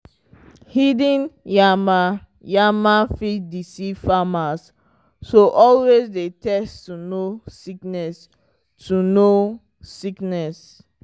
hidden yama-yama fit deceive farmers so always dey test to know sickness. to know sickness.